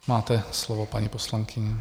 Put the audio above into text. Máte slovo, paní poslankyně.